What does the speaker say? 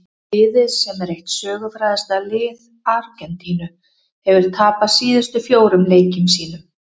Liðið sem er eitt sögufrægasta lið Argentínu hefur tapað síðustu fjórum leikjum sínum.